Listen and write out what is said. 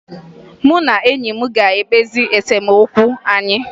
Mụ na enyi m ga-ekpezi esemokwu anyị